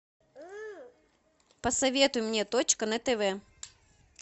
посоветуй мне точка на тв